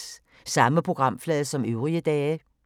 Samme programflade som øvrige dage